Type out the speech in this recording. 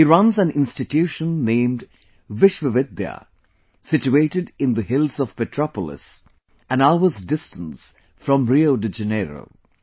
He runs an institution named Vishwavidya, situated in the hills of Petropolis, an hour's distance from Rio De Janeiro